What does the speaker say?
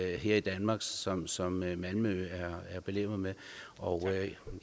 her i danmark som som malmø er belemret med og